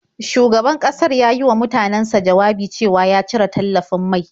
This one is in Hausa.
Shugaban ƙasar ya yi wa mutanansa jawabi cewa ya cire tallafin mai.